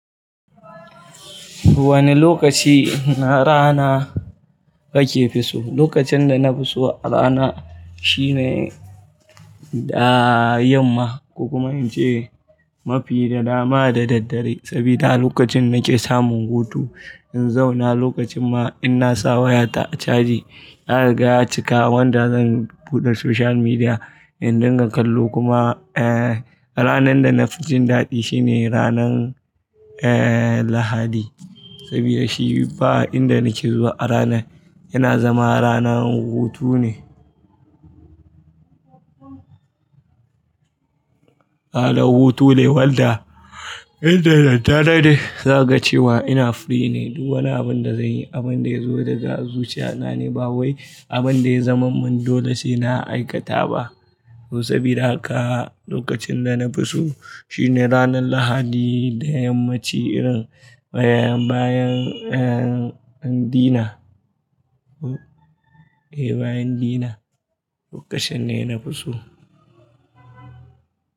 Wane lokaci na rana kake fisu? Lokacin da na fisu a rana shine da yamma, kokuma in ce mafi da dama da daddare sabida lokacin nake samun hutu in zauna, lokacin ma in na sa wayata a caji, na riga cika wanda zan buɗe social media in dinga kallo kuma, eh, ranan da na fi jin daɗi shine ranan, eh, Lahadi sabida shi ba inda nake zuwa a rana yana zama rana hutu ne. Rana hutu ne wanda inda daddare zaka ce wa ina free ne, duk wani abun da zanyi abun da ya zo daga zuciya na ne ba wai abun da ya zaman mun dole shine a aikata ba. Sabida haka lokacin da na fisu shine ranan Lahadi da yammaci irin, bayan, bayan, eh, dina. E, bayan dina lokacin ne na fisu.